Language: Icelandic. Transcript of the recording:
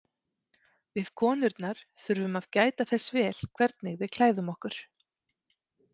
Við konurnar þurfum að gæta þess vel hvernig við klæðum okkur.